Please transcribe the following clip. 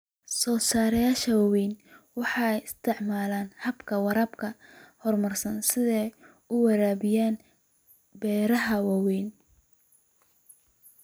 Soosaarayaasha waaweyni waxay isticmaalaan hababka waraabka horumarsan si ay u waraabiyaan beero waaweyn.